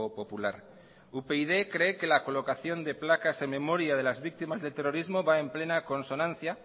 popular upyd cree que la colocación de placas de memoria de las víctimas del terrorismo va en plena consonancia